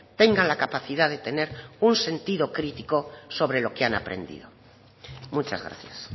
tengan la capacidad de tener un sentido crítico sobre lo que han aprendido muchas gracias